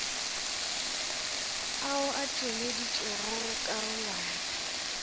ao a tšweleditšwego go karolwana